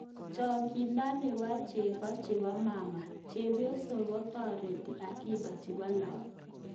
Chang'indo nepo chego chepo mama:Chepyosok kotoreti akiba chepo lagok